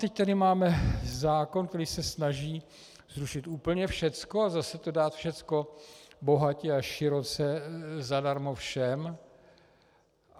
Teď tady máme zákon, který se snaží zrušit úplně všecko a zase to dát všecko bohatě a široce zadarmo všem.